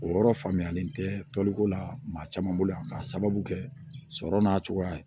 O yɔrɔ faamuyalen tɛ toliko la maa caman bolo yan k'a sababu kɛ sɔrɔ n'a cogoya ye